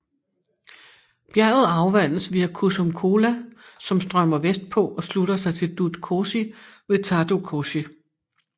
Bjerget afvandes via Kusum Khola som strømmer vestpå og slutter sig til Dudh Khosi ved Thado Koshi